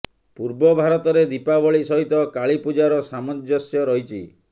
ପୂର୍ବ ଭାରତରେ ଦୀପାବଳି ସହିତ କାଳୀ ପୂଜାର ସାମଞ୍ଜସ୍ୟ ରହିଛି